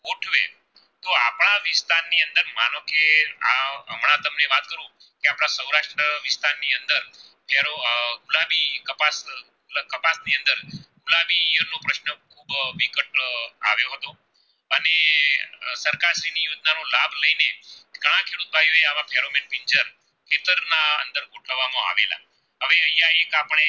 અહીંયા એક આપણે